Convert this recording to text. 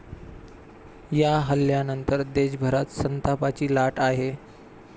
या हल्ल्यानंतर देशभरात संतापाची लाट आहे.